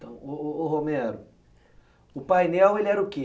Então, ô ô ô Romero, o painel ele era o quê?